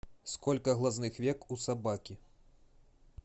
сколько глазных век у собаки